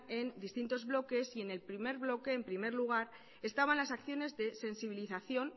en distintos bloques en el primer bloque en primer lugar estaban las acciones de sensibilización